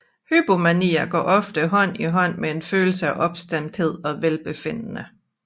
Hypomanier går ofte hånd i hånd med en følelse af opstemthed og velbefindende